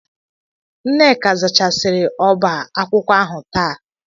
Nneka zachasịrị ọba akwụkwọ ahụ taa.